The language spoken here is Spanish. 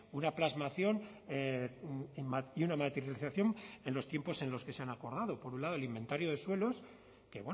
una plasmación y una materialización en los tiempos en los que se han acordado por un lado el inventario de suelos que